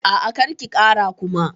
A'a, kar ki kara Kuma.